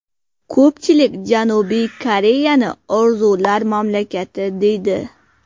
Ko‘pchilik Janubiy Koreyani orzular mamlakati deydi.